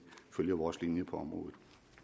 følger vores linje på området